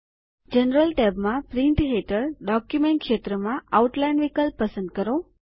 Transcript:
general ટૅબમાં print હેઠળ document ક્ષેત્ર માં આઉટલાઇન વિકલ્પ પસંદ કરો